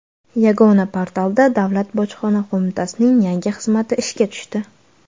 Yagona portalda Davlat bojxona qo‘mitasining yangi xizmati ishga tushdi.